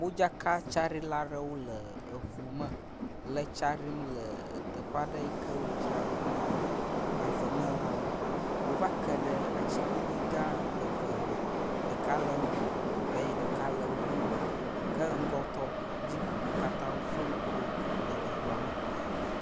Modzaka tsaɖila aɖewo le ŋu me le tsa ɖim le teƒe aɖe yi ke wodzraɖo ɖi na avemelãwo. Wova ke ɖe atiglinyi gã eve ŋu. Ɖeka le wo ŋgɔ eye ɖeka le wo megbe ke ŋgɔtɔ dzi ko wo katã woflo ŋku ɖo le eŋua me.